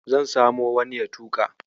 Zan samo wani ya tuƙa.